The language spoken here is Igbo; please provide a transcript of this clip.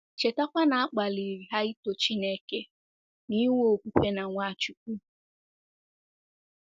Chetakwa na a kpaliri ha ito Chineke na inwe okwukwe na Nwachukwu.